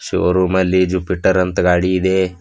ಶೋರೂಮಲ್ಲಿ Jupiter ಅಂತ್ ಗಾಡಿ ಇದೆ.